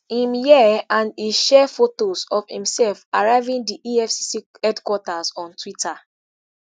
i'm here' and e share fotos of imsef arriving di efcc headquarters on twitter.